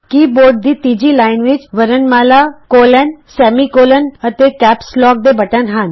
ਕੀ board ਦੀ ਤੀਜੀ line ਵਿੱਚ ਵਰਣਮਾਲਾ ਕੋਲੋਨਸੈਮੀਕੋਲੋਨ ਅਤੇ ਕੈਪਸ ਲੌਕ ਦੇ ਬਟਨ ਹਨ